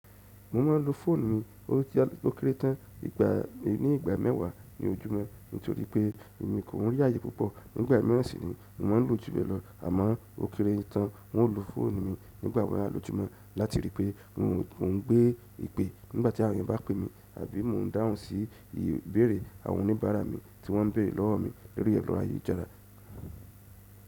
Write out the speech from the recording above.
Mo máa ń lo fóònù mi-- ó kere tán ní ìgbà mẹ́wàá ní ojúmọ́ nítorí pé emi kò ń rí ààyè púpọ̀. Nígbà mìíràn sini yìí, mo maa n lo ju yen lo, amo okere tan. Mo máa ń lo fóònù mi nígbà mẹ́wàá lójúmọ́ láti rí pé mo ń gbé ipe nígbà tí àwọn eyán bá pè mí àbí mo ń dáhùn sí ìbéèrè àwọn oníbàárà mi tí wọ́n ń bèèrè lọ́wọ́ mi lorì ẹro ayélujára.